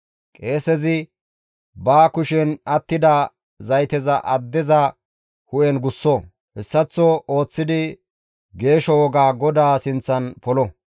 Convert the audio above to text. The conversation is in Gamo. Qeesezi ba kushen attida zayteza addeza hu7en gusso; hessaththo ooththidi geesho woga GODAA sinththan polo.